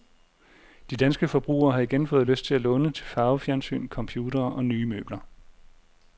De danske forbrugere har igen fået lyst til at låne til farvefjernsyn, computere og nye møbler.